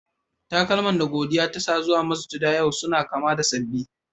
Takalma da godiya ta sa zuwa masujada yau suna kama da saɓi.